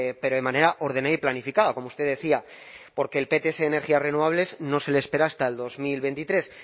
pero de manera ordenada y planificada como usted decía porque el pts de energías renovables no se le espera hasta el dos mil veintitrés